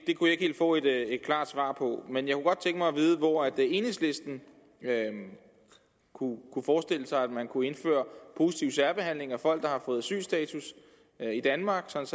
helt få et klart svar på men jeg kunne godt tænke mig at vide hvor enhedslisten kunne forestille sig at man kunne indføre positiv særbehandling af folk der har fået asylstatus i danmark sådan